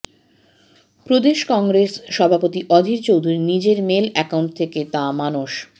প্রদেশ Congress সভাপতি অধীর চৌধুরী নিজের mail account থেকে তা মানস